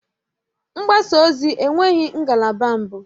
Mgbasa ozi enweghị ngalaba mbụ